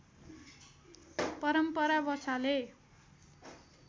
परम्परा बसाले